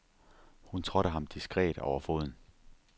Hun trådte ham diskret over foden.